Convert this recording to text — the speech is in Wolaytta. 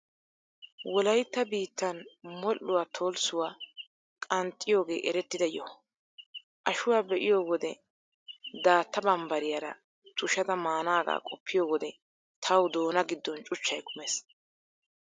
Wolaytta biittan modhuwaa, tolssuwaa qanxxiyoogee erettida yoho. Ashuwaa be'iyo wode daatta mambbariyaaraa tushada maanaagaa qoppiyo wode, tawu doona giddon cuchchay kumees.